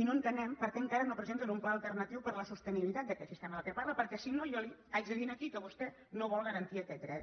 i no entenem per què encara no presenten un pla alternatiu per a la sostenibilitat d’aquest sistema de què parla perquè si no jo li haig de dir aquí que vostè no vol garantir aquest dret